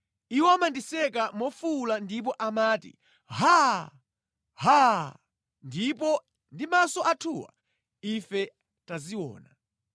Iwo amandiseka mofuwula ndipo amati, “Haa! Haa! Ndipo ndi maso athuwa ife taziona.”